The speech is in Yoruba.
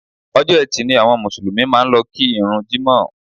Ọjọ́ etì ni àwọn Mùsùlùmí máa ń lọ kí ìrun jimọ